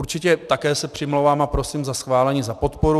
Určitě také se přimlouvám a prosím za schválení, za podporu.